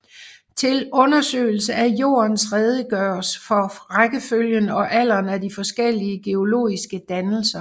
Til undersøgelse af Jordens historie redegøres for rækkefølgen og alderen af de forskellige geologiske dannelser